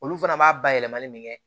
Olu fana b'a bayɛlɛmani min kɛ